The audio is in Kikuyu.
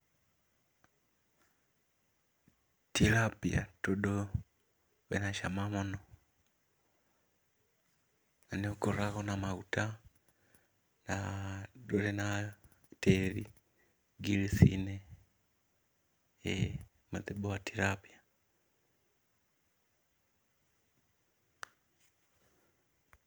Tilapia tondũ wĩna cama mũno,, na nĩ ũkoragwo na maguta, na ndũrĩ na tĩri gills inĩ, ĩĩ mũthemba wa Tilapia